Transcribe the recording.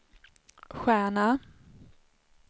stjärna